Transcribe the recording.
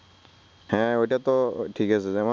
হ্যা অইটাতো ঠিকাছে যেমন